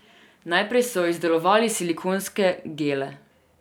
Najprej so izdelovali silikonske gele.